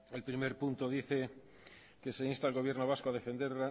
el primer punto dice que se insta al gobierno vasco a defender